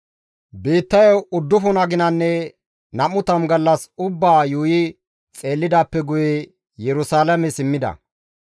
Biittayo uddufun aginanne nam7u tammu gallas ubbaa yuuyi xeellidaappe guye Yerusalaame simmida.